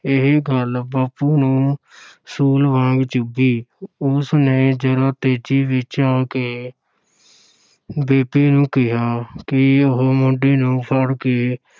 ਇਹ ਗੱਲ ਬਾਪੂ ਨੂੰ ਸੂਲ ਵਾਂਗ ਚੁੱਭੀ ਉਸਨੇ ਜ਼ਰਾ ਤੇਜੀ ਵਿੱਚ ਆ ਕੇ ਬੇਬੇ ਨੂੰ ਕਿਹਾ ਕਿ ਉਹ ਮੁੰਡੇ ਨੂੰ ਫੜ ਕੇ